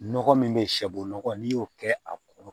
Nɔgɔ min bɛ shɛbɔgɔ n'i y'o kɛ a kɔrɔ